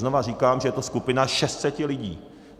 Znova říkám, že je to skupina 600 lidí.